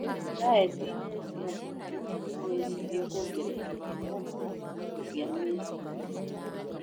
Daetinĩ ya mbũkũ nowĩcirie kuongerera blocko cia mineral